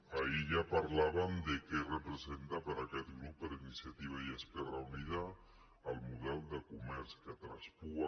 ahir ja parlàvem de què representa per a aquest grup per a iniciativa i esquerra unida el model de comerç que traspua